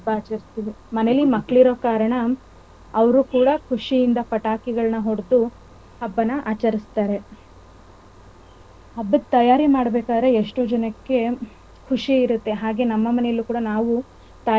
ಮನೇಲಿ ಮಕ್ಕಳಿರೋ ಕಾರಣ ಅವ್ರು ಕೂಡ ಖುಷಿಯಿಂದ ಪಟಾಕಿಗಳನಾ ಒಡೆದು ಹಬ್ಬನ ಆಚರಿಸ್ತರೇ . ಹಬ್ಬದ ತಯಾರಿ ಮಾಡ್ಬೇಕಾರೆ ಎಷ್ಟೋ ಜನಕ್ಕೆ ಖುಷಿ ಇರುತ್ತೆ ಹಾಗೆ ನಮ್ಮ ಮನೇಲು ಕೂಡ ನಾವು.